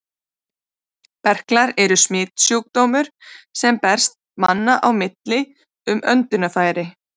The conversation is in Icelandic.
Berklar eru smitsjúkdómur, sem berst manna á milli um öndunarfæri.